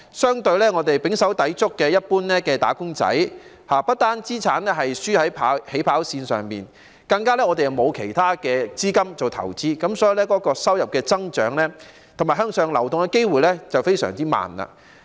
相反，胼手胝足的一般"打工仔"，不但資產"輸在起跑線"上，更加沒有其他資金做投資，所以收入增長及向上流動的機會非常慢。